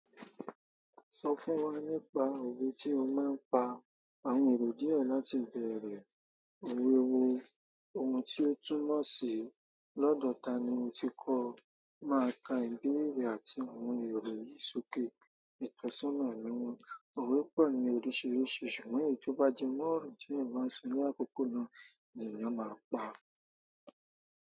Sọ fún wa nípa òwe tí o máa ń pa. Àwọn èrò díẹ̀ láti bẹ̀rẹ̀, àwọn ohun tí ó túnmọ̀ sí, lọ́dọ̀ tani mo ti kọ́, máa kà ìbéèrè àti àwọn èrò yìí sókè. Ìtọ́sọ́nà níwọ̀n, òwe pọ̀ ní oríṣiríṣi ṣùgbọ́n èyí tó bá jẹ́ mo ọ̀rọ̀ tí èèyàn bá nso ní àkókò náà ni èèyàn má pa.